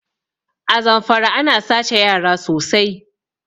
A Zamfara ana sace yara sosai